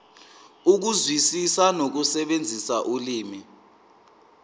ukuzwisisa nokusebenzisa ulimi